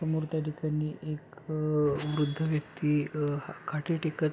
समोर त्या ठिकाणी एक वृद्ध व्यक्ति अ हा काठी टेकत--